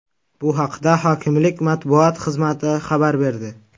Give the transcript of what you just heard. Bu haqda hokimlik matbuot xizmati xabar berdi .